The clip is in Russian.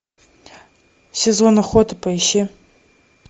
сезон охоты поищи